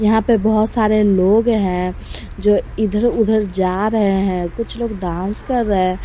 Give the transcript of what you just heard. यहां पर बहोत सारे लोग हैं जो इधर उधर जा रहे हैं कुछ लोग डांस कर रहे--